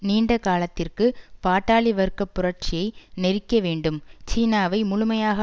நீண்ட காலத்திற்கு பாட்டாளி வர்க்க புரட்சியை நெரிக்க வேண்டும் சீனாவை முழுமையாக